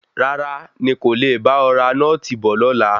Rárá, ní kò le bá ọ ra nọ́ọ̀tì bọ̀ lọ́la.